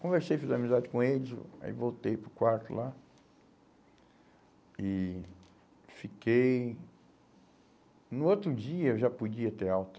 Conversei, fiz amizade com eles, o aí voltei para o quarto lá e fiquei... No outro dia eu já podia ter alta.